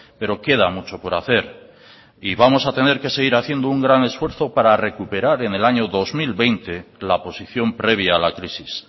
pero queda mucho por hacer y vamos a tener que seguir haciendo un gran esfuerzo para recuperar en el año dos mil veinte la posición previa a la crisis